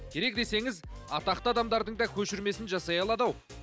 керек десеңіз атақты адамдардың да көшірмесін жасай алады ау